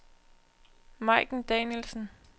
Majken Danielsen